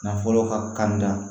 Na fɔlɔ ka kan da